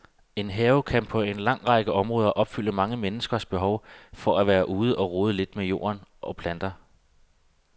En have kan på en lang række områder opfylde mange menneskers behov for at være ude og rode lidt med jord og planter.